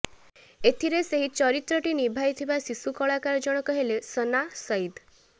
ଏଥିରେ ସେହି ଚରିତ୍ରଟି ନିଭାଇଥିବା ଶିଶୁ କଳାକାର ଜଣକ ହେଲେ ସନା ସଇଦ୍